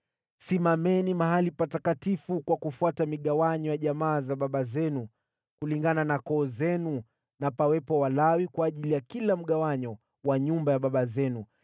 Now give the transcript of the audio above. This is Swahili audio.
“Simameni mahali patakatifu kwa kufuata migawanyo ya jamaa za baba zenu kulingana na koo zenu na pawepo Walawi kwa ajili ya kila mgawanyo wa nyumba ya baba zenu.